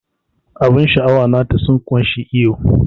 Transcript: Abun sha'awa nata sun kunshe iyo.